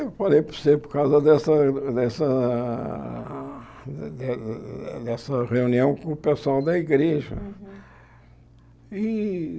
Eu falei para você por causa dessa dessa ah eh eh dessa reunião com o pessoal da igreja. E